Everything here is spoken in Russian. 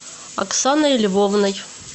оксаной львовной